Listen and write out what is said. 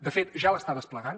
de fet ja l’està desplegant